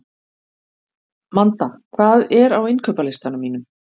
Manda, hvað er á innkaupalistanum mínum?